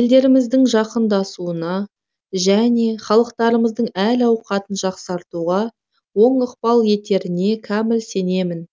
елдеріміздің жақындасуына және халықтарымыздың әл ауқатын жақсартуға оң ықпал етеріне кәміл сенемін